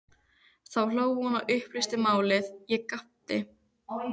Þá hló hún og upplýsti málið, ég gapti.